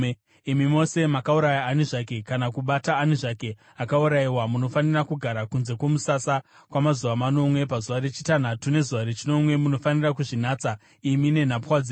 “Imi mose makauraya ani zvake kana kubata ani zvake akaurayiwa, munofanira kugara kunze kwomusasa kwamazuva manomwe. Pazuva rechitanhatu nezuva rechinomwe, munofanira kuzvinatsa imi nenhapwa dzenyu.